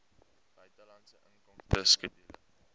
buitelandse inkomste skedule